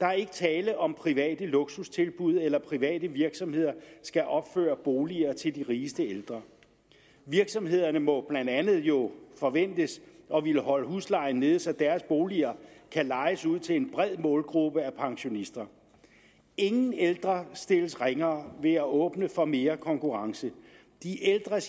der er ikke tale om private luksustilbud eller at private virksomheder skal opføre boliger til de rigeste ældre virksomhederne må blandt andet jo forventes at ville holde huslejen nede så deres boliger kan lejes ud til en bred målgruppe af pensionister ingen ældre stilles ringere ved at åbne for mere konkurrence de ældres